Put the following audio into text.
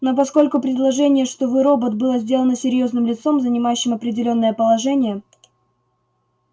но поскольку предположение что вы робот было сделано серьёзно лицом занимающим определённое положение